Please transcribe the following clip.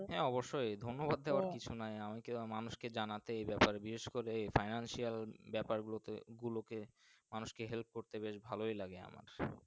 হ্যাঁ অবশই ধন্যবাদ দেওয়ার কিছুই নাই আমি তো মানুষকে জানাতেই ব্যাপার বিশেষ করে Financial ব্যাপার গুলোতে গুলোতে মানুষ কে Help করতেই বেশ ভালোই লাগে আমার।